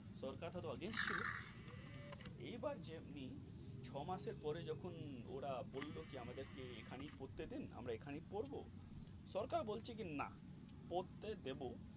সরকার হয়তো against ছিল, এই বার যেমনি ছয় মাসের পরে যখন ওরা বললো কি আমাদেরকে এখনই পড়তে দিন আমরা এখানেই পড়বো সরকার বলছি কি না পড়তে দেব.